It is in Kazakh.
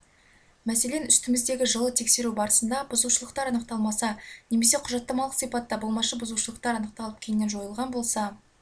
мәселен үстіміздегі жылы тексеру барысында бұзушылықтар анықталмаса немесе құжаттамалық сипатта болмашы бұзушылықтар анықталып кейіннен жойылған болса